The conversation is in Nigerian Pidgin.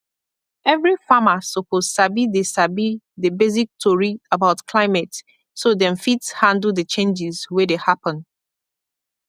every farmer suppose sabi the sabi the basic tori about climate so dem fit handle the changes wey dey happen